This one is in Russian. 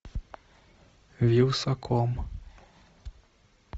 вилсаком